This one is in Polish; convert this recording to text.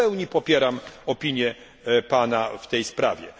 W pełni popieram opinię pana w tej sprawie.